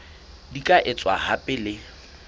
di ka etswa hape le